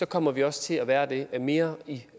kommer vi også til at være det mere i